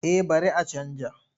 Eh bari a canja.